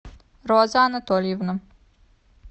роза анатольевна